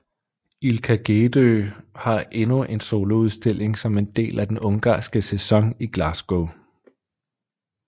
Ilka Gedő har endnu en soloudstilling som en del af den ungarske sæson i Glasgow